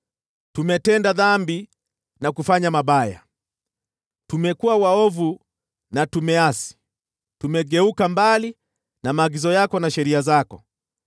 tumetenda dhambi na kufanya mabaya. Tumekuwa waovu na tumeasi; tumegeuka mbali na maagizo yako na sheria zako.